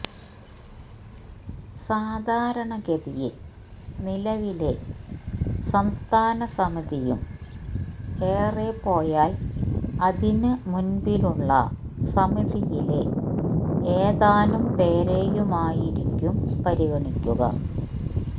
സാധാരണ ഗതിയില് നിലവിലെ സംസ്ഥാന സമിതിയും ഏറെ പോയാല് അതിന് മുന്പിലുള്ള സമിതിയിലെ ഏതാനും പേരെയുമായിരിക്കും പരിഗണിക്കുക